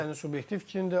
Bu sənin subyektiv fikrindir.